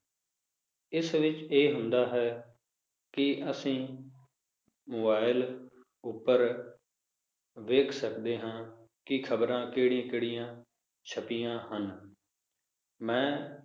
ਇਸ ਵਿਚ ਇਹ ਹੁੰਦਾ ਹੈ, ਕਿ ਅੱਸੀ mobile ਉਪਰ, ਵੇਖ ਸਕਦੇ ਹਾਂ, ਕਿ ਖਬਰਾਂ ਕਿਹੜੀਆਂ-ਕਿਹੜੀਆਂ ਛਪੀਆਂ ਹਨ ਮੈ